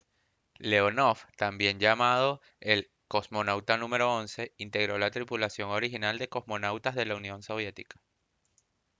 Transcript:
leonov también llamado el «cosmonauta n.º 11» integró la tripulación original de cosmonautas de la unión soviética